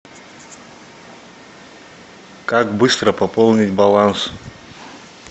как быстро пополнить баланс